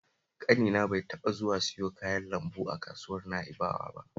Ƙanina bai taɓa zuwa siyo kayan lambu a kasuwar Na'bawa ba